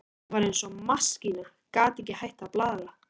Hún var eins og maskína, gat ekki hætt að blaðra.